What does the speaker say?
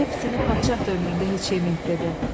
Belə pitini padşah da ömründə heç yeyib!" - dedi.